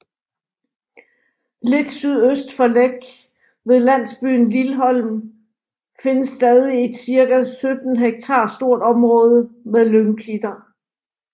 Lidt sydøst for Læk ved landsbyen Lilholm findes stadig et cirka 17 hektar stort område med lyngklitterne